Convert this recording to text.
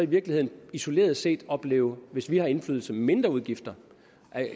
virkeligheden isoleret set opleve hvis vi har indflydelse mindre udgifter